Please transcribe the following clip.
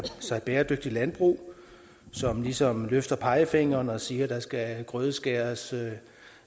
sig bæredygtigt landbrug som ligesom løfter pegefingeren og siger at der skal grødeskæres